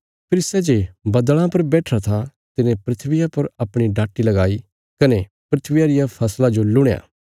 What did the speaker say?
फेरी सै जे बद्दल़ां पर बैठिरा था तिने धरतिया पर अपणी डाटी लगाई कने धरतिया रिया फसला जो लुणया